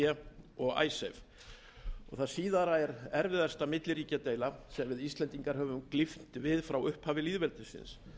b og icesave það síðara er erfiðasta milliríkjadeila sem við íslendingar höfum glímt við frá upphafi lýðveldisins